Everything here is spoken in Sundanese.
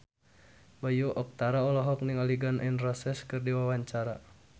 Bayu Octara olohok ningali Gun N Roses keur diwawancara